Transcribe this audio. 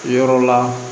Yɔrɔ la